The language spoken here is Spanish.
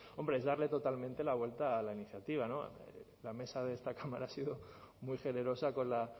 hombre es darle totalmente la vuelta a la iniciativa la mesa de esta cámara ha sido muy generosa con la